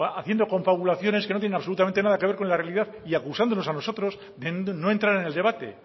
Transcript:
haciendo confabulaciones que no tienen absolutamente nada que ver con la realidad y acusándonos a nosotros de no entrar en el debate